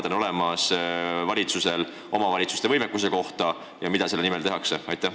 Kui hea ülevaade valitsusel omavalitsuste võimekusest on ja mida selle parandamiseks tehakse?